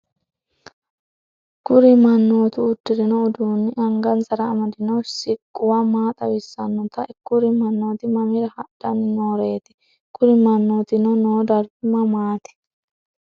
Kuri manotu udirino udunina angasara amadino sikuwa maa xawisanote ? Kuri manoti mamira hadhani nooret? Kuri manotino noo darigi mamati